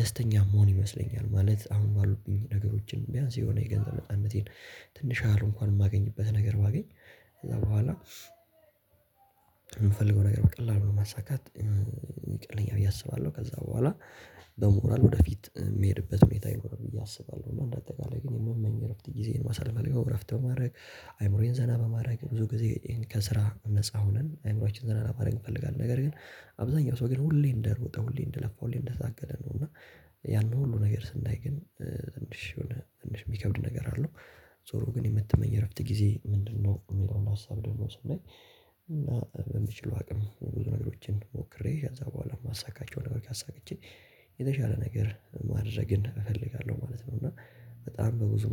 ደስተኛ መሆን ይመስለኛል። ማለት አሁን ባሉብኝ ነገሮችን ቢያንስ የሆነ የገንዘብ ለፃነነቴን ትንሽ እንኳን የማገኝበት ነገር ባገኝ። ከዛ በኋላ የምፈልገው ነገር በቀላሉ ነው ማሳካት ይቀለኛ ብዬ አስባለሁ። ከዛ በኋላ በሞራል ወደፊት የሚሄድበት ሁኔታ ይኖርብኝ እያሰባለሁ አጠቃላይ ግን የምመኝ እረፍት ጊዜን ማሳለል አድርገው እረፍት ማድረግ። አይምሮዬን ዘና በማድረግ ብዙ ጊዜ ከስራ ነፃ ሆነን አይምሮአችን ዘና ለማድረግ እፈልጋለሁ። ነገር ግን አብዛኛው ሰው ግን ሁሌ እንደሮጠ ሁሌ እንደለፋው ሁሌ እንደታገለ ነው። እና ያንን ሁሉ ነገር ስናይ ግን ትንሽ የሆነ ትንሽ የሚከብድ ነገር አለው። ዞሮ ግን የምትመኝ እረፍት ጊዜ ምንድነው? የሚለውን ሀሳብ ደግሞ ስናይ እና በሚችለው አቅም ብዙ ነገሮችን ሞክሬ ከዛ በኋላ የማሳካቸው ነገሮች አሳክቼ የተሻለ ነገር ማድረግን እፈልጋለሁ ማለት ነው። እና በጣም በብዙ